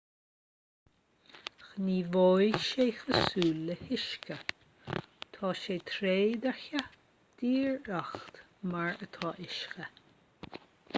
gníomhóidh sé cosúil le huisce tá sé trédhearcach díreach mar atá uisce